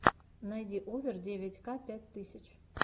найди овер девять ка пять тысяч